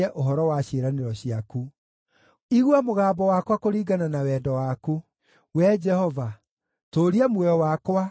Igua mũgambo wakwa kũringana na wendo waku; Wee Jehova, tũũria muoyo wakwa, kũringana na mawatho maku.